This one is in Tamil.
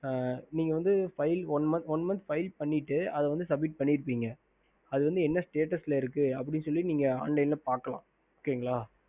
ஹம்